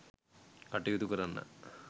කටයුතු කරන්නා